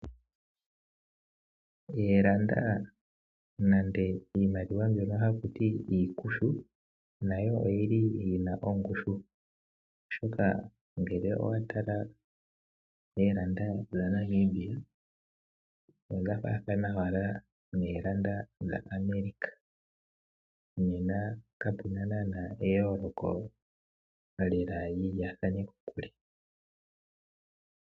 Ooranda nenge iimaliwa mbyono haku tiwa iikushu nayo oyi na ongushu, oshoka ngele owa tala oodola dhaNamibia odha faathana owala noodola dhaAmerica. Kapu na naanaa eyooloko li lyaathane kokule mokutala.